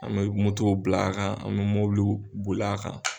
An me motow bil'a kan an me mobiliw bol' a kan